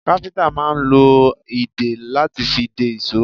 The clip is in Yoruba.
Káfíntà máa ń lo a ìdè lati fi dè ìṣó